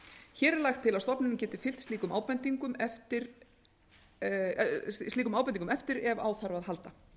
hér er lagt til að stofnunin geti fylgt slíkum ábendingum eftir ef á þarf að halda